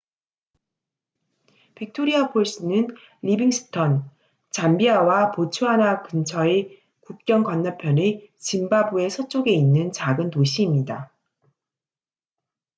빅토리아 폴스는 리빙스턴 잠비아와 보츠와나 근처의 국경 건너편의 짐바브웨 서쪽에 있는 작은 도시입니다